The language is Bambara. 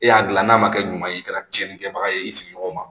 E y'a gilan n'a kɛ ɲuman ye i kɛra tiɲɛni kɛbaga ye i sigiɲɔgɔnw ma